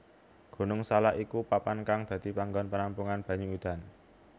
Gunung Salak iku papan kang dadi panggon penampungan banyu udan